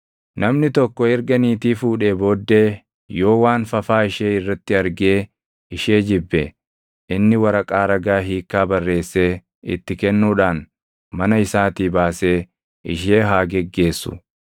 Namni tokko erga niitii fuudhee booddee yoo waan fafaa ishee irratti argee ishee jibbe, inni waraqaa ragaa hiikkaa barreessee itti kennuudhaan mana isaatii baasee ishee haa geggeessu.